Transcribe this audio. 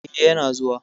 Eh, yana zuwa.